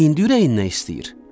İndi ürəyindən istəyir?